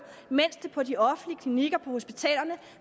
på de offentlige klinikker på hospitalerne